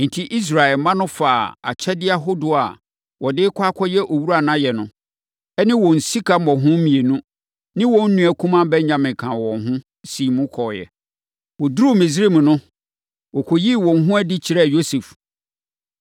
Enti, Israel mma no faa akyɛdeɛ ahodoɔ a wɔde rekɔ akɔyɛ owura no ayɛ no, ne wɔn sika mmɔho mmienu, ne wɔn nua kumaa Benyamin kaa wɔn ho, siim kɔeɛ. Wɔduruu Misraim no, wɔkɔyii wɔn ho adi kyerɛɛ Yosef.